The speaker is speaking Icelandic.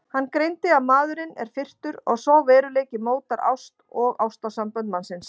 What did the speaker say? Hann greindi að maðurinn er firrtur og sá veruleiki mótar ást og ástarsambönd mannsins.